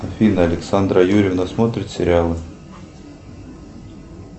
афина александра юрьевна смотрит сериалы